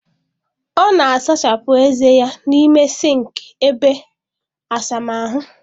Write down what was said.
Ọ na-asachapụ ezé ya n'ime sịnkị ebe asamahụ